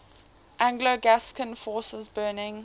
anglo gascon forces burning